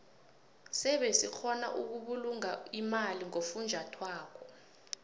sebe sikgona ukubulunga imali ngofunjathwako